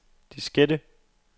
diskette